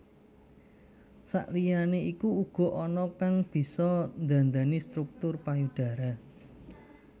Sakliyane iku uga ana kang bisa ndhandhani struktur payudara